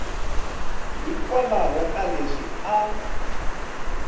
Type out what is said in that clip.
hikwalaho ka leswi a a